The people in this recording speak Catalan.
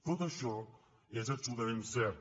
tot això és absolutament cert